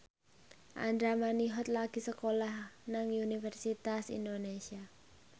Andra Manihot lagi sekolah nang Universitas Indonesia